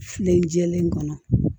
Filɛlen jɛlen kɔnɔ